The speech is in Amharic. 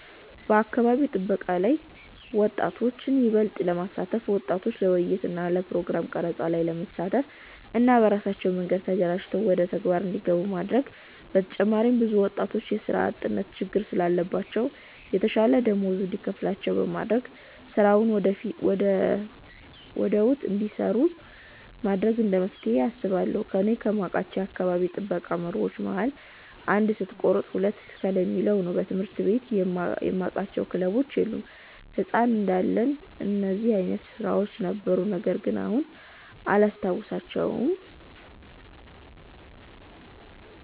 በአካባቢ ጥበቃ ላይ ወጣቶችን ይበልጥ ለማሳተፍ ወጣቶችን ለውይይት እና ፕሮግራም ቀረፃ ላይ ማሳተፍ እና በራሳቸው መንገድ ተደራጅተው ወደተግባር እንዲገቡ ማድረግ በተጨማሪም ብዙ ወጣቶች የስራ አጥነት ችግር ስላለባቸው የተሻለ ደመወዝ እንዲከፈላቸው በማድረግ ስራውን ወደውት እንዲሰሩት ማድረግ እንደመፍትሄ አስባለሁ። እኔ ከማውቃቸው የአካባቢ ጥበቃ መርሆች መሀል "አንድ ስትቆርጥ ሁለት ትክል "የሚል ነው። በትምህርት ቤት የማቃቸው ክበቦች የሉም። ህፃን እንዳለን እንደዚህ አይነት ስራዎች ነበሩ ነገርግን አሁን ላይ አላስታውሳቸውም።